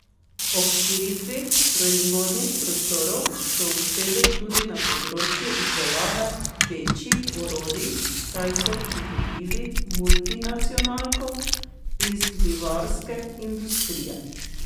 Ob širitvi proizvodnih prostorov so uspeli tudi na področju izdelave večjih orodij, saj so pridobili multinacionalko iz livarske industrije.